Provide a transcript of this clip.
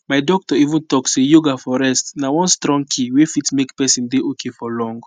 my doctor even talk say yoga for rest na one strong key wey fit make person dey okay for long